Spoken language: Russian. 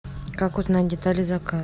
как узнать детали